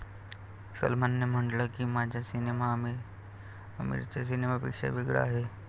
सलमानने म्हटलं की, 'माझा सिनेमा आमीरच्या सिनेमापेक्षा वेगळा आहे.